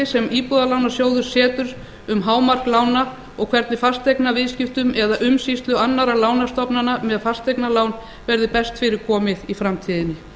sem íbúðalánasjóður setur um hámark lána og hvernig fasteignaviðskiptum eða umsýslu annarra lánastofnana með fasteignalán verði best fyrir komið í framtíðinni